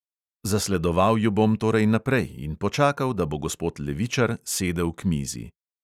Zasledoval ju bom torej naprej in počakal, da bo gospod levičar sedel k mizi.